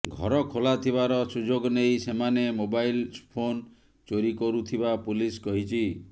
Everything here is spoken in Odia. ଘର ଖୋଲା ଥିବାର ସୁଯୋଗ ନେଇ ସେମାନେ ମୋବାଇଲ ଫୋନ ଚୋରି କରୁଥିବା ପୁଲିସ୍ କହିଛି